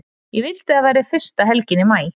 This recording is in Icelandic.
Ég vildi að það væri fyrsta helgin í maí.